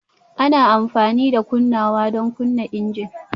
Ana amfani da kunnawa don kunna injin